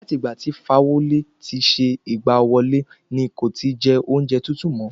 Láti ìgbà tí Fáwọlé ti ṣe ìgbà wọlé ní kò ti jẹ ọ́únjẹ tútù mo